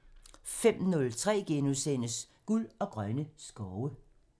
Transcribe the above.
05:03: Guld og grønne skove *(tir)